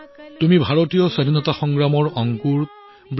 আপুনি ভাৰতীয় স্বাধীনতা সংগ্ৰাম আৰু সংযমৰ বীজ